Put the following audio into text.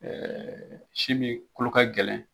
Ɛɛ si min kolo ka gɛlɛn